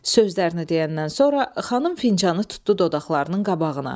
Sözlərini deyəndən sonra xanım fincanı tutdu dodaqlarının qabağına.